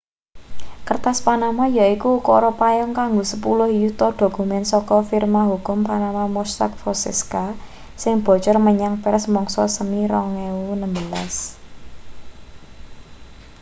"kertas panama yaiku ukara payung kanggo sepuluh yuta dokumen saka firma hukum panama mossack fonseca sing bocor menyang pers mangsa semi 2016.